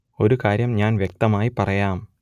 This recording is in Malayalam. ഒരു കാര്യം ഞാൻ വ്യക്തമായി പറയാം